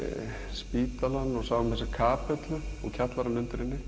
spítalann og sáum þessa kapellu og kjallarann undir henni